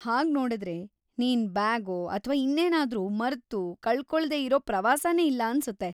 ಹಾಗ್ನೋಡುದ್ರೆ ನೀನ್ ಬ್ಯಾಗೋ ಅಥ್ವಾ‌ ಇನ್ನೇನ್ನಾದ್ರೂ ಮರ್ತು ಕಳ್ಕೊಳ್ದೇ ಇರೋ ಪ್ರವಾಸನೇ ಇಲ್ಲ ಅನ್ಸುತ್ತೆ.